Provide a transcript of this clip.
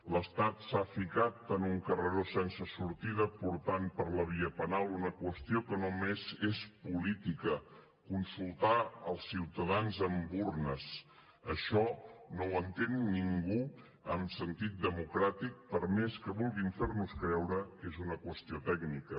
l’estat s’ha ficat en un carreró sense sortida portant per la via penal una qüestió que només és política consultar els ciutadans amb urnes això no ho entén ningú amb sentit democràtic per més que vulguin fer nos creure que és una qüestió tècnica